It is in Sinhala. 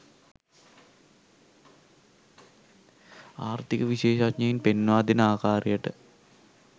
ආර්ථික විශේෂඥයින් පෙන්වා දෙන ආකාරයට